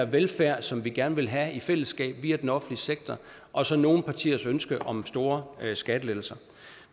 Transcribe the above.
velfærd som vi gerne vil have i fællesskab via den offentlige sektor og så nogle partiers ønske om store skattelettelser